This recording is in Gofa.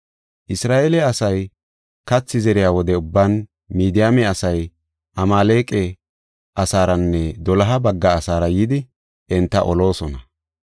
Isra7eele asay kathi zeriya wode ubban, Midiyaame asay Amaaleqa asaaranne doloha bagga asaara yidi enta oloosona.